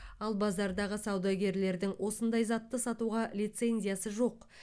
ал базардағы саудагерлердің осындай затты сатуға лицензиясы жоқ